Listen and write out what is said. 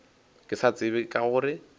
ke sa tsebe ka gore